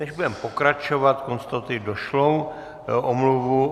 Než budeme pokračovat, konstatuji došlou omluvu.